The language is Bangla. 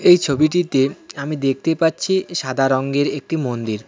এই ছবিটিতে আমি দেখতে পাচ্ছি সাদা রংয়ের একটি মন্দির.